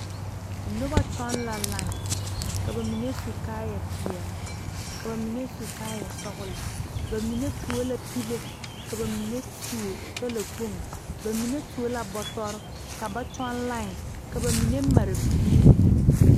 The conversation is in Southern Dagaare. Nobɔ kyɔŋ la lai ka ba mine su kaayɛ peɛle ka ba mine su kaayɛ sɔglɔ ba mine tuo la pile ka ba mine tuo talakpoŋ ba mine tuo la bɔtɔrre ka ba kyɔŋ lai ka ba mine mare biire.